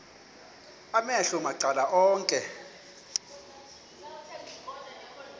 amehlo macala onke